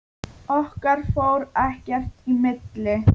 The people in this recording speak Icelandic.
Okkar fór ekkert í milli.